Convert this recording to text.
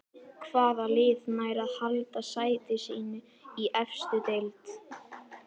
Hvaða lið nær að halda sæti sínu í efstu deild?